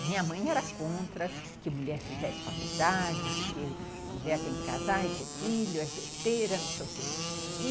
Minha mãe era contra que mulher fizesse faculdade, porque mulher tem que casar e ter filho, é besteira, não sei o quê, e